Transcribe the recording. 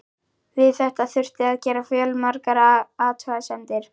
Við þetta þurfti að gera fjölmargar athugasemdir.